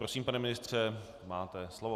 Prosím, pane ministře, máte slovo.